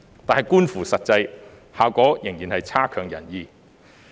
"，但觀乎實際，效果仍然差強人意。